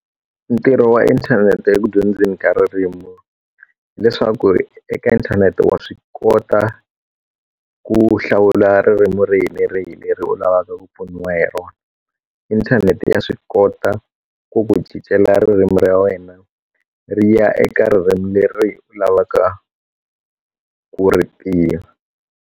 Ntirho wa inthanete eku dyondzeni ka ririmi leswaku eka inthanete wa swi kota ku hlawula ririmi rihi ni rihi leri u lavaka ku pfuniwa hi rona inthanete ya swi kota ku ku cincela ririmi ra wena ri ya eka ririmi leri u lavaka ku ri tiva.